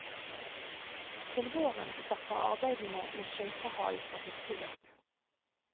Til våren starter arbeidene med skøytehallen for hurtigløp.